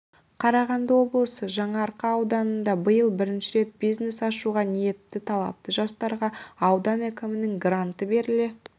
қарағанды облысының жаңаарқа ауданында биыл бірінші рет бизнес ашуға ниетті талапты жастарға аудан әкімінің гранты беріле